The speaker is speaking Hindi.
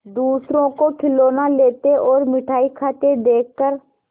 दूसरों को खिलौना लेते और मिठाई खाते देखकर